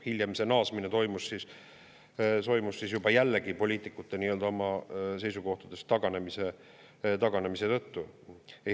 Hiljem see naasmine toimus siis juba jällegi poliitikute oma seisukohtadest taganemise tõttu.